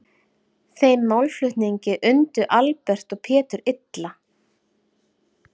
Þeim málflutningi undu Albert og Pétur illa.